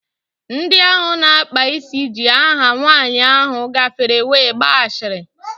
Ndị ahụ na-akpa isi ji aha nwaanyị ahụ gafere were gbaa ashịrị